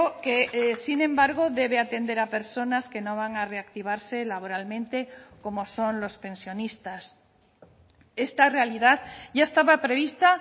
que sin embargo debe atender a personas que no van a reactivarse laboralmente como son los pensionistas esta realidad ya estaba prevista